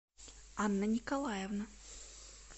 анна николаевна